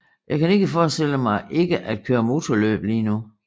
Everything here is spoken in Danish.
Jeg kan ikke forestille mig ikke at køre motorløb lige nu